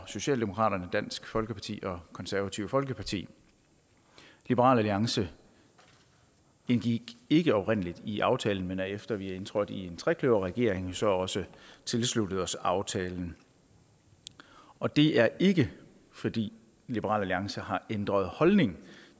socialdemokratiet dansk folkeparti og konservative folkeparti liberal alliance indgik ikke oprindelig i aftalen men har efter vi er indtrådt i en trekløverregering jo så også tilsluttet os aftalen og det er ikke fordi liberal alliance har ændret holdning